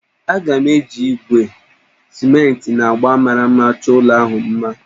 Aga m eji igwe, simenti, na agba mara mma chọọ ụlọ ala ahụ mma